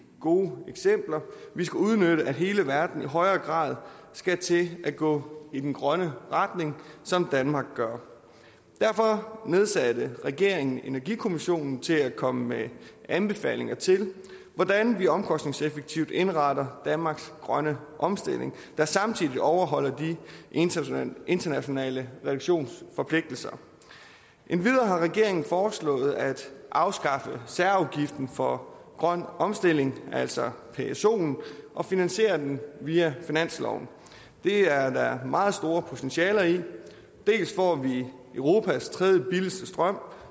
gode eksempler vi skal udnytte at hele verden i højere grad skal til at gå i den grønne retning som danmark gør derfor nedsatte regeringen energikommissionen til at komme med anbefalinger til hvordan vi omkostningseffektivt indretter danmarks grønne omstilling der samtidig overholder de internationale internationale reduktionsforpligtelser endvidere har regeringen foreslået at afskaffe særafgiften for grøn omstilling altså psoen og finansiere den via finansloven det er der meget store potentialer i vi får europas tredjebilligste strøm